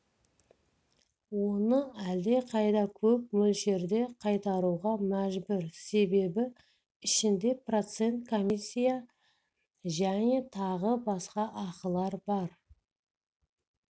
оны әлдеқайда көп мөлшерде қайтаруға мәжбүр себебі ішінде процент комиссия және тағы басқа ақылар бар